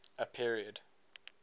a period